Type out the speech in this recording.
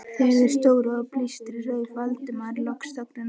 Þegar þeir stóðu á blístri rauf Valdimar loks þögnina.